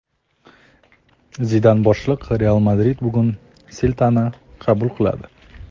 Zidan boshliq "Real Madrid" bugun "Selta"ni qabul qiladi.